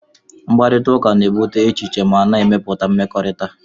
Mkparịta ụka na-ebute echiche ma na-emepụta mmekọrịta